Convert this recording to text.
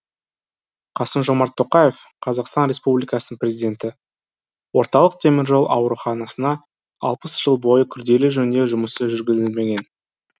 қасым жомарт тоқаев қазақстан республикасының президенті орталық теміржол ауруханасына алпыс жыл бойы күрделі жөндеу жұмысы жүргізілмеген